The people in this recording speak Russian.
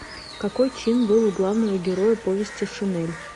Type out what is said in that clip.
какой чин был у главного героя повести шинель